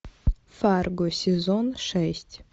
фарго сезон шесть